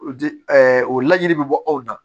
O di o laɲini bɛ bɔ aw la